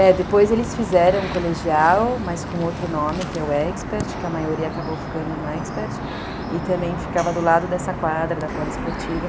É, depois eles fizeram um colegial, mas com outro nome, que é o Expert, que a maioria acabou ficando no Expert, e também ficava do lado dessa quadra da poliesportiva.